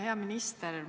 Hea minister!